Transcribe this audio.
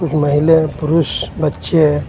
महिले है पुरुष बच्चे है.